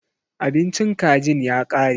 Abincin kajin ya kare.